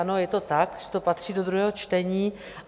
Ano, je to tak, že to patří do druhého čtení.